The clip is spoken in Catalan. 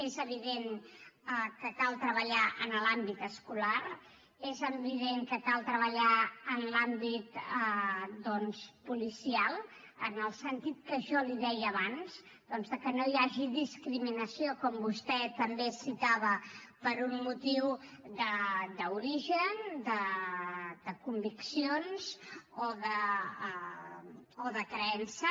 és evident que cal treballar en l’àmbit escolar és evident que cal treballar en l’àmbit policial en el sentit que jo li deia abans doncs de que no hi hagi discriminació com vostè també citava per un motiu d’origen de conviccions o de creença